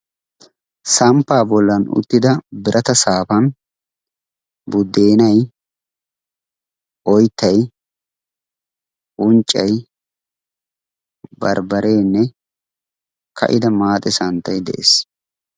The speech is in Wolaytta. Samppaa bollan uttida birata saafan buddeenay, oyttay, unccay, barbbareenne ka"ida maaxe santtay de'ees.